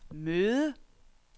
møde